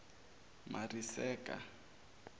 masireka